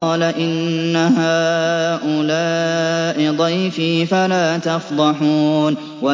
قَالَ إِنَّ هَٰؤُلَاءِ ضَيْفِي فَلَا تَفْضَحُونِ